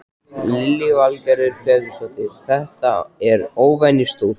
Lillý Valgerður Pétursdóttir: Þetta er óvenjustórt?